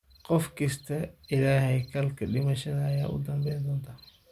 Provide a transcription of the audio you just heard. Qof kistaa illahey kalke dimasha aya udanbentodh.